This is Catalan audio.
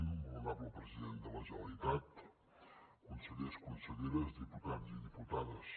molt honorable president de la generalitat consellers conselleres diputats i diputades